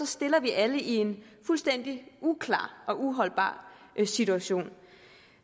stilles vi alle i en fuldstændig uklar og uholdbar situation